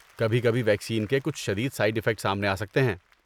کبھی کبھی ویکسین کے کچھ شدید سائڈ افیکٹ سامنے آ سکتے ہیں۔